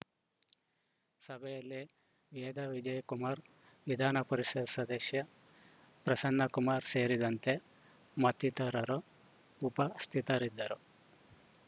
ಸಭೆಯಲ್ಲಿ ವೇದಾ ವಿಜಯ ಕುಮಾರ್‌ ವಿಧಾನ ಪರಿಷತ್‌ ಸದಸ್ಯ ಪ್ರಸನ್ನ ಕುಮಾರ್‌ ಸೇರಿದಂತೆ ಮತ್ತಿತರರು ಉಪಸ್ಥಿತರಿದ್ದರು